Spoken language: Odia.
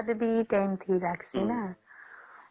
ଆଉ ସେତକୀ ସ୍ୱାଦ ବି କେମିତି ଲାଗିଁସେ ନ